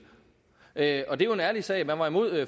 af og det er jo en ærlig sag man var imod